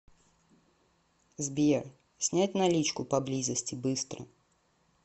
сбер снять наличку поблизости быстро